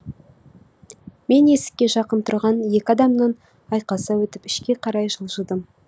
мен есікке жақын тұрған екі адамнан айқаса өтіп ішке қарай жылжыдым